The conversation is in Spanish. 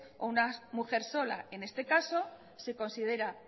o una mujer sola en este caso se considera